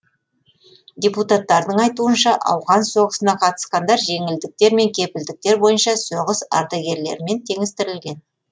депутаттардың айтуынша ауған соғысына қатысқандар жеңілдіктер мен кепілдіктер бойынша соғыс ардагерлерімен теңестірілген